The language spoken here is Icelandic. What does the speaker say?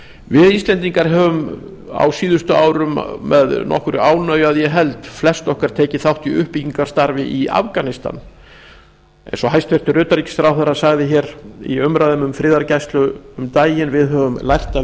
við íslendingar höfum á síðustu árum með nokkurri ánægju að ég held flest okkar tekið þátt í uppbyggingarstarfi í afganistan eins og hæstvirtur utanríkisráðherra sagði hér í umræðu um friðargæslu um daginn við höfum lært af